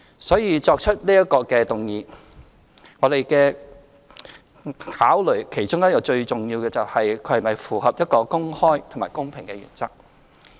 所以，提出這項議案，我們其中一個最重要的考慮，是其是否符合一個公開和公平的原則。